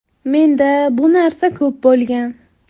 Menda bu narsa ko‘p bo‘lgan.